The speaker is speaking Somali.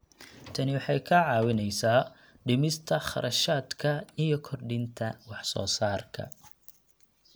Tani waxay kaa caawinaysaa dhimista kharashaadka iyo kordhinta wax soo saarka.